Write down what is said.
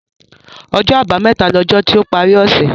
Ọjọ́ àbámẹ̀ta ni ọjọ́ tí ó parí ọ̀ṣẹ̀